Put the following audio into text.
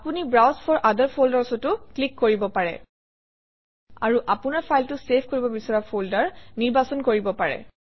আপুনি browse for other folders অতো click কৰিব পাৰে আৰু আপোনৰ ফাইলটো চেভ কৰিব বিচৰা ফল্ডাৰ নিৰ্বাচন কৰিব পাৰে